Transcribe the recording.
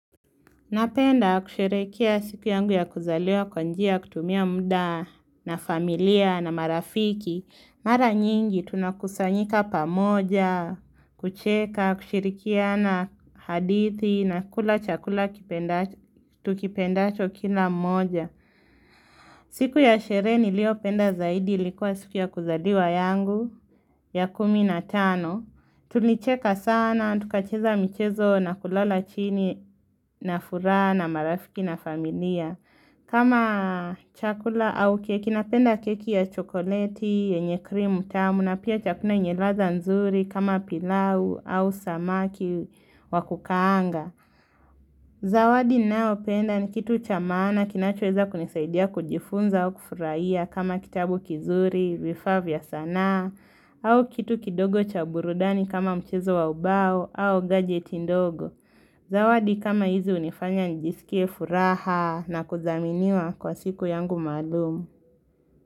Napenda kusherekea siku yangu ya kuzaliwa kwanjia kutumia mda na familia na marafiki. Mara nyingi tunakusanyika pamoja, kucheka, kushirikia na hadithi na kula chakula tukipendacho kila mmoja. Siku ya sherehe nilio penda zaidi ilikuwa siku ya kuzaliwa yangu ya kumi na tano. Tulicheka sana, tukacheza mchezo na kulala chini na furaha na marafiki na familia kama chakula au keki, napenda keki ya chokoleti, yenye krimu tamu na pia chakuna yenye ladha nzuri kama pilau au samaki wakukaanga Zawadi ninayo penda ni kitu chamaana kinachoweza kunisaidia kujifunza au kufuraihia kama kitabu kizuri, vifaa vya sanaa au kitu kidogo cha burudani kama mchezo waubao au gadget ndogo zawadi kama hizi unifanya njisikie furaha na kudhaminiwa kwa siku yangu maalumu.